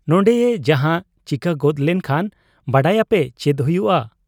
ᱱᱚᱱᱰᱮᱭᱮ ᱡᱟᱦᱟᱸ ᱪᱤᱠᱟᱹ ᱜᱚᱫ ᱞᱮᱱ ᱠᱷᱟᱱ ᱵᱟᱰᱟᱭᱟᱯᱮ ᱪᱮᱫ ᱦᱩᱭᱩᱜ ᱟ ?